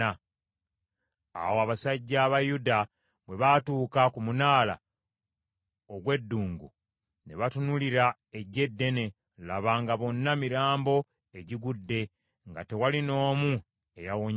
Awo abasajja aba Yuda bwe baatuuka ku munaala ogw’eddungu, ne batunuulira eggye eddene, laba nga bonna mirambo egigudde, nga tewaliwo n’omu eyawonyeewo.